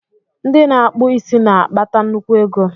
Ndị na-akpụ isi na-akpata nnukwu ego.